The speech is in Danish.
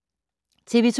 TV 2